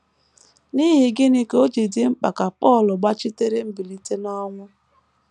N’ihi gịnị ka o ji dị mkpa ka Pọl gbachitere mbilite n’ọnwụ?